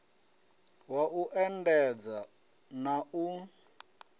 wa u endedza na u